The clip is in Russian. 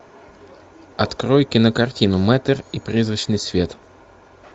открой кинокартину мэтр и призрачный свет